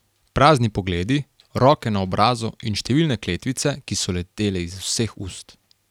Prazni pogledi, roke na obrazu in številne kletvice, ki so letele iz vseh ust ...